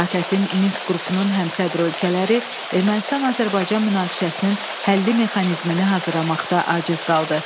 ATƏT-in Minsk qrupunun həmsədr ölkələri Ermənistan-Azərbaycan münaqişəsinin həlli mexanizmini hazırlamaqda aciz qaldı.